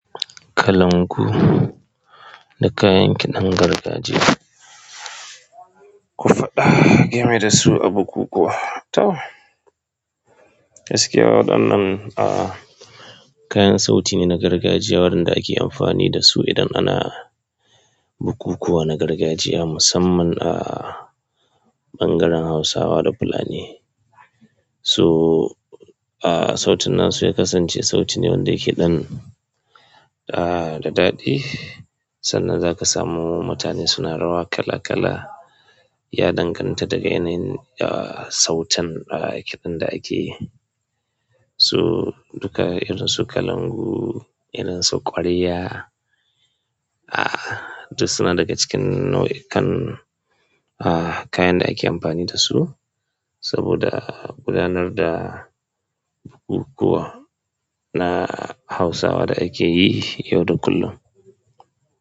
Kalangu da kayan kiɗan gargajiya, ku faɗa game da su a bukukuwa. To, gaskiya waɗannan, ah, kayan sauti ne na gargajiya waɗanda ake amfani da su idan ana bukukuwa na gargajiya musamman a ɓangaren Hausawa da Fulani. To, ah, sautin na su ya kasance sauti ne wanda yake ɗan, ah, da daɗi. Sannan za ka samu mutane suna rawa kala kala, ya danganta daga yanayin, ah, sautin, ah, yake ɗan da ake. To duka irin su kalangu, irin su ƙwarya, ah, duk suna daga cikin nau'ikan, ah, kayan da ake amfani da su saboda gudanar da bukukuwa na Hausawa da ake yi yau da kullum.